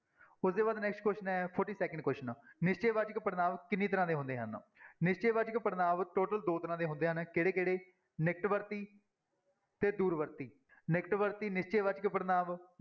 ਉਹਦੇ ਬਾਅਦ next question ਹੈ forty-first question ਨਿਸ਼ਚੈ ਵਾਚਕ ਪੜ੍ਹਨਾਂਵ ਕਿੰਨੀ ਤਰ੍ਹਾਂ ਦੇ ਹੁੰਦੇ ਹਨ ਨਿਸ਼ਚੈ ਵਾਚਕ ਪੜ੍ਹਨਾਂਵ total ਦੋ ਤਰ੍ਹਾਂ ਦੇ ਹੁੰਦੇ ਹਨ ਕਿਹੜੇ ਕਿਹੜੇ ਨਿਕਟਵਰਤੀ ਤੇ ਦੂਰ ਵਰਤੀ ਨਿਕਟ ਵਰਤੀ ਨਿਸ਼ਚੈ ਵਾਚਕ ਪੜ੍ਹਨਾਂਵ